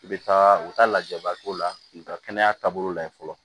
I bɛ taa u taa lajaba k'o la u bɛ taa kɛnɛya taabolo lajɛ fɔlɔ